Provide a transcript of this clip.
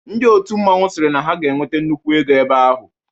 Ndị otu mmanwụ sịrị na ha ga-enwete nnukwu ego ebe ahụ.